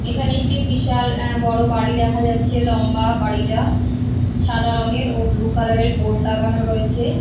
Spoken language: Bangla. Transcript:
এইখানে একটি বিশাল অ্যা বড় বাড়ি দেখা যাচ্ছে লম্বা বাড়িটা। সাদা রংয়ের ও বুলু কালার -এর বোড লাগানো রয়েছে ।